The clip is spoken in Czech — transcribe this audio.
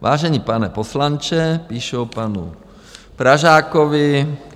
Vážený pane poslanče, píšou panu Pražákovi.